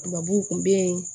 Tubabuw kun be yen